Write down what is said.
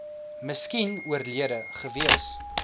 miskien oorlede gewees